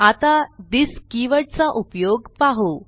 आता this keyword चा उपयोग पाहू